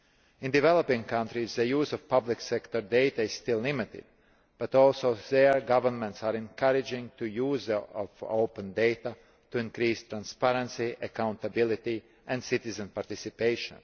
In developing countries, the use of public sector data is still limited, but there too governments are encouraging the use of open data to increase transparency, accountability and citizen participation.